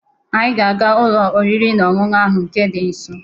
Anyị ga-aga n'ụlọ oriri na ọṅụṅụ ahụ nke dị nso